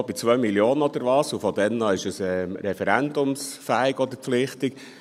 Die Grenze liegt irgendwo bei 2 Mio. Franken, und ab da ist es referendumsfähig oder -pflichtig.